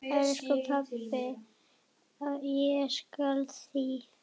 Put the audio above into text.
Elsku pabbi, ég sakna þín.